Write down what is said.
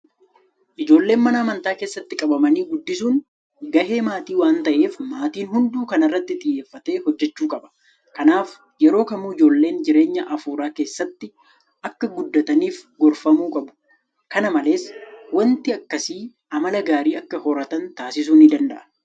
Ijoollee mana amantii keessatti qabanii guddisuun gahee maatii waanta ta'eef maatiin hunduu kana irratti xiyyeeffatee hojjechuu qaba. Kanaaf yeroo kamuu ijoolleen jireenya afuuraa keessatti akka guddataniif gorfamuu qabu. Kana malees waanti akkasii amala gaarii akka horatan taasisuus ni danda'a.